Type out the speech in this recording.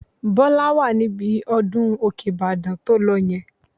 Bọ́lá wà níbi ọdún Òkè-Ìbàdàn tó lọ yẹn